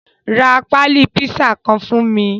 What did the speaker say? Ra pali pisa kan fun mi